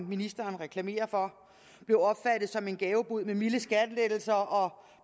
ministeren reklamerer for blev opfattet som en gavebod med milde skattelettelser og